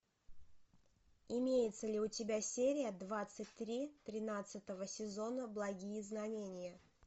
имеется ли у тебя серия двадцать три тринадцатого сезона благие знамения